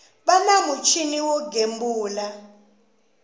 va na muchini wo gembula